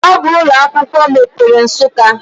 Ọ bụ ụlọ akwụkwọ mepere Nsukka.